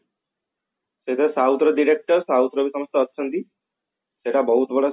ସେଥିରେ ରେ south ର director ଆଉ south ର ବି ସମସ୍ତେ ଅଛନ୍ତି ସେଟା ବହୁତ ବଡ